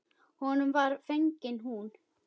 Honum var fengin hún.